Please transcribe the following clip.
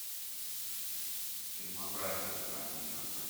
фильмография тарантино